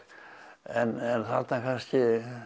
en þarna kannski